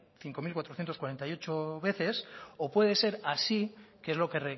cinco mil cuatrocientos cuarenta y ocho veces o puede ser así que es lo que